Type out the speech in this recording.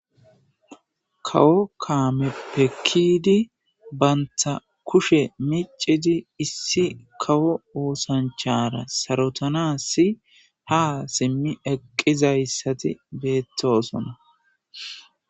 kawo kaamepe kiyidi banta kushe micidi issi kawo oosanchara sarotanasi ha simmi eqqizayssati beettosona